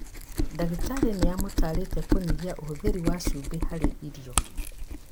Ndagĩtarĩ nĩamũtarĩte kũnyihia ũhũthĩri wa cumbĩ harĩ irio